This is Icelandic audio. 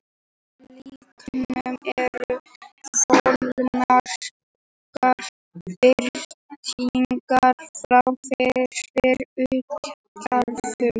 Í leiknum eru fjölmargar breytingar frá fyrri útgáfum.